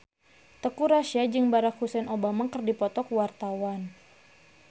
Teuku Rassya jeung Barack Hussein Obama keur dipoto ku wartawan